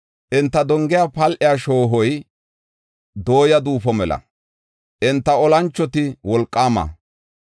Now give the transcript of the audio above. Enta donge pal7e shoohoy dooya duufo mela; enta olanchoti wolqaama.